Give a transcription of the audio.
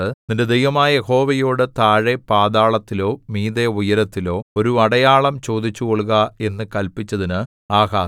നിന്റെ ദൈവമായ യഹോവയോടു താഴെ പാതാളത്തിലോ മീതെ ഉയരത്തിലോ ഒരു അടയാളം ചോദിച്ചുകൊള്ളുക എന്നു കല്പിച്ചതിന് ആഹാസ്